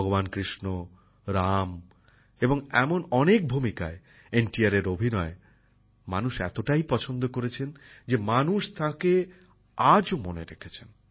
ভগবান কৃষ্ণ রাম এবং এমন অনেক ভূমিকায় এন টি আরের অভিনয় মানুষ এতটাই পছন্দ করেছেন যে মানুষ তাঁকে আজও মনে রেখেছেন